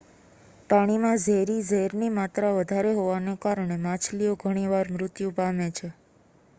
પાણીમાં ઝેરી ઝેરની માત્રા વધારે હોવાને કારણે માછલીઓ ઘણી વાર મૃત્યુ પામે છે